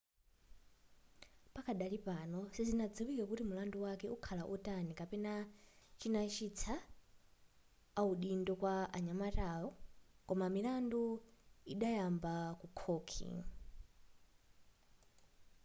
pakadali pano sizinaziwike kuti mulandu wake ukakhala otani kapena chinachitisa audindo kwa nyamatayo koma milandu idayamba ku khohi